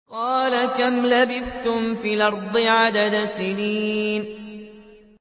قَالَ كَمْ لَبِثْتُمْ فِي الْأَرْضِ عَدَدَ سِنِينَ